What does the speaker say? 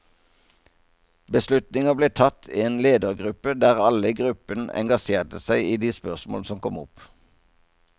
Beslutninger ble tatt i en ledergruppe der alle i gruppen engasjerte seg i de spørsmål som kom opp.